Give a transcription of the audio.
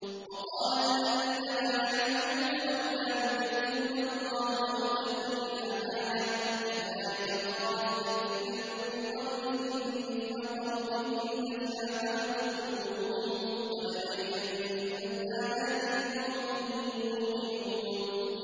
وَقَالَ الَّذِينَ لَا يَعْلَمُونَ لَوْلَا يُكَلِّمُنَا اللَّهُ أَوْ تَأْتِينَا آيَةٌ ۗ كَذَٰلِكَ قَالَ الَّذِينَ مِن قَبْلِهِم مِّثْلَ قَوْلِهِمْ ۘ تَشَابَهَتْ قُلُوبُهُمْ ۗ قَدْ بَيَّنَّا الْآيَاتِ لِقَوْمٍ يُوقِنُونَ